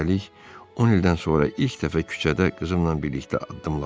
Üstəlik, 10 ildən sonra ilk dəfə küçədə qızımla birlikdə addımladıq.